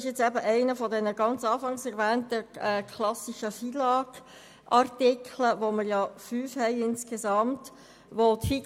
Es geht um einen der anfangs erwähnten, klassischen FILAG-Artikel, von denen wir insgesamt fünf haben.